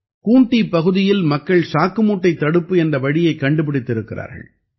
கூண்ட்டீ பகுதியில் மக்கள் சாக்குமூட்டைத் தடுப்பு என்ற வழியைக் கண்டுபிடித்திருக்கிறார்கள்